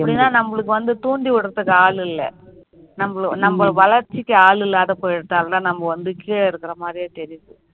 அப்படின்னா நம்மளுக்கு வந்து தூண்டி விடுறதுக்கு ஆள் இல்ல நம்ம வளர்ச்சிக்கு ஆள் இல்லாத போயிடுச்சு அது தான் நம்ம வந்து கீழ இருக்குற மாறியே தெரியுது